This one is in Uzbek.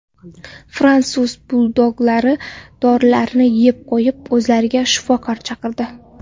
Fransuz buldoglari dorilarni yeb qo‘yib, o‘zlariga shifokor chaqirdi.